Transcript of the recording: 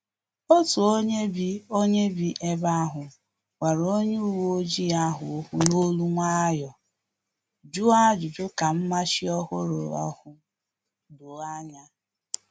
Otu onye bi onye bi ebe ahu gwara onye uwe ojii ahụ okwu n'olu nwayọọ, jụọ ajụjụ ka mmachi ọhụrụ ahụ doo ya anya